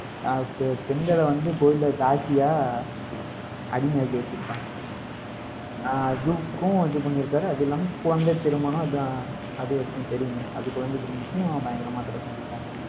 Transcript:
ஆஹ் பெ~ பெண்களை வந்து கோயில்ல தாசியா அடிமையாக்கி வச்சிருப்பாங்க. ஆஹ் அதுக்கும் இது பண்ணியிருக்காரு. அது இல்லாம, குழந்தை திருமணம் அது அது ஏற்கனவே தெரியுமே அது குழந்தை திருமணத்தையும் பயங்கரமா தடை செஞ்சிருக்காங்க.